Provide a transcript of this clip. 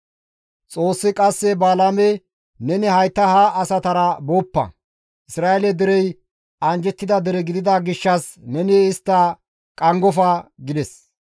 Xoossi qasse Balaame, «Neni hayta ha asatara booppa; Isra7eele derey anjjettida dere gidida gishshas neni istta qanggofa» gides.